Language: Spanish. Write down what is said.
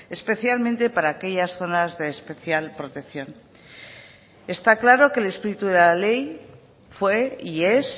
especialmente para aquellas zonas de especial protección está claro que el espíritu de la ley fue y es